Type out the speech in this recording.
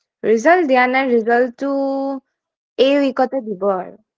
Result দিয়া নাই result টো এই week ত এ দিব আৰু